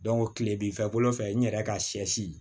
kile bi fɛ kolon fɛ n yɛrɛ ka sɛ si